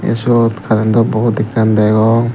tey sot currentto bord ekkan degong.